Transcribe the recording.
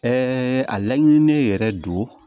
a laɲinini yɛrɛ don